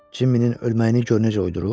Cimminin ölməyini gör necə oydurub.